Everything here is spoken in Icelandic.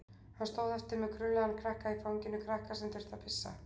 Hann stóð eftir með krullaðan krakka í fanginu, krakka sem þurfti að pissa.